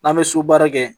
N'an bɛ so baara kɛ